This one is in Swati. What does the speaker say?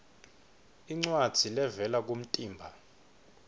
incwadzi levela kumtimba